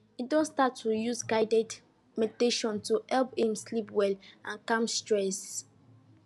he don start to use guided meditation to help him sleep well and calm stress